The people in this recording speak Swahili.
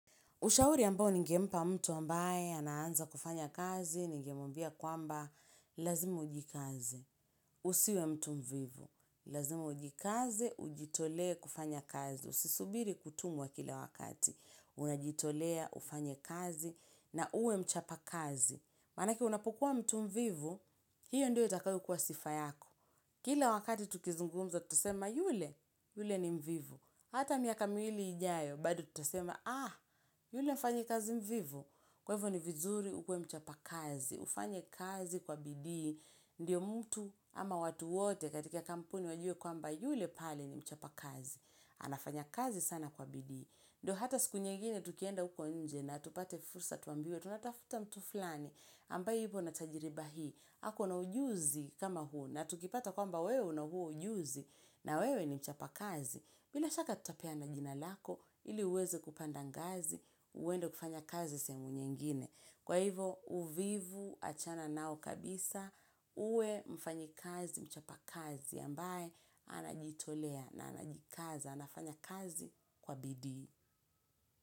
Ushauri ambao nigempa mtu ambaye ananza kufanya kazi, ningemwabia kwamba lazimu ujikaze, usiwe mtu mvivu, lazima ujikaze, ujitolee kufanya kazi. Usisubiri kutumwa kila wakati, unajitolea, ufanye kazi na uwe mchapa kazi. Maanake unapokua mtu mvivu, hiyo ndio itakayo kuwa sifa yako. Kila wakati tukizungumza, tutasema yule, yule ni mvivu. Hata miaka miwili ijayo, bado tutasema, ah, yule mfanyi kazi mvivu. Kwa ivo ni vizuri ukuwe mchapa kazi. Ufanye kazi kwa bidii. Ndiyo mtu ama watu wote katika kampuni wajue kwamba yule pale ni mchapa kazi. Anafanya kazi sana kwa bidii. Ndo hata siku nyingine tukienda uko nje na tupate fursa tuambiwe, tunatafuta mtu flani ambaye hivyo natajiriba hii, ako na ujuzi kama huo na tukipata kwamba wewe una huo ujuzi na wewe ni mchapa kazi. Bila shaka tutapea na jina lako, ili uweze kupanda ngazi, uwendo kufanya kazi sehemu nyingine. Kwa hivo, uvivu achana nao kabisa, uwe mfanyi kazi, mchapa kazi, ambaye anajitolea na anajikaza, anafanya kazi kwa bidii.